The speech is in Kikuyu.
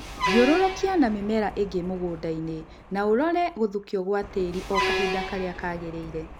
Thiũrũrũkia na mĩmera ĩngĩ mũgũndaini na ũrore gũthukio gwa tĩri oo kahinda karĩa kagĩrĩile